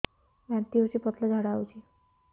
ବାନ୍ତି ହଉଚି ପତଳା ଝାଡା ହଉଚି